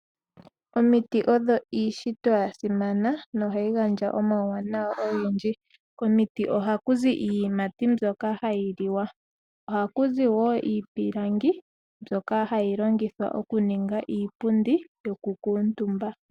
Omiti odho iishitwa ya simana nohayi gandja omawuwanawa ogendji. Komiti ohaku zi iiyimati mbyoka hayi liwa. Ohaku zi wo iipilangi mbyoka hayi longithwa oku ninga iipundi yokukuutumba.